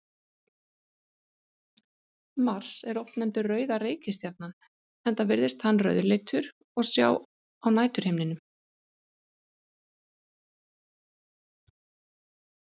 Mars er oft nefndur rauða reikistjarnan enda virðist hann rauðleitur að sjá á næturhimninum.